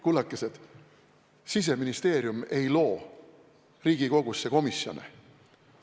Kullakesed, Siseministeerium ei loo Riigikogus komisjone.